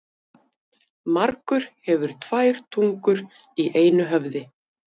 Margur hefur tvær tungur í einu höfði.